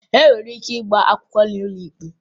E nwere ike ịgba akwụkwọ n'ụlọ ikpe